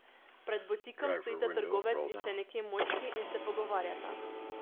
Pred butikom stojita trgovec in še neki moški in se pogovarjata.